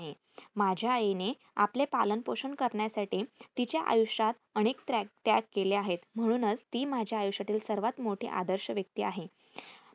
माझ्या आईने आपले पालनपोषण करण्यासाठी तिच्या आयुष्यात अनेक त्र्याग त्याग केले आहेत म्हणूनच ती माझ्या आयुष्यातील सर्वात मोठी आदर्श व्यक्ती आहे.